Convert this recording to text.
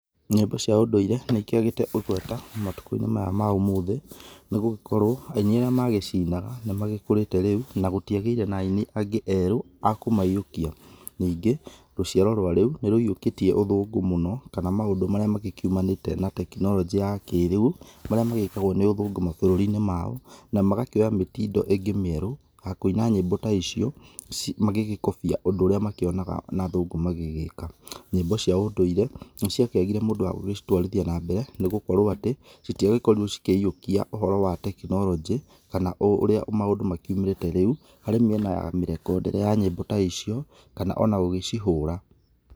Nyĩmbo cia ũndũ-ire nĩ ikĩagĩte ĩgweta matukũ inĩ maya ma ũmũthĩ, nĩgũgĩkorwo aini arĩa magĩcinaga nĩ magĩkũrĩte rĩu na gũtiagĩire na aini angĩ erũ a kũmayĩũkia. Ningĩ rũciaro rwa rĩu nĩ rũyĩũkĩtie ũthũngũ mũno, kana maũndũ marĩa magĩkiumanĩte na tekinoronjĩ ya kĩrĩu, marĩa magĩkagwo nĩ ũthũngũ mabũrũri-inĩ mao, na magakĩoya mĩtindo ingĩ mĩerũ ta kũina nyĩmbo ta icio, magĩgĩkobia ũndũ ũrĩa makĩonaga na athũngũ magĩgĩka. Nyĩmbo cia ũndũire nĩ ciakĩagire mũndũ wa gũcitwarithia na mbere nĩ gukorwo atĩ, citiagĩkorirwo cikĩyiokia ũhoro wa tekinoronjĩ kana ũrĩa maũndũ makiumĩrĩte rĩu harĩ mĩena ya mĩrekondere ya nyĩmbo ta icio, kana ona gũgĩcihũra.